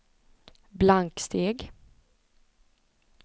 blanksteg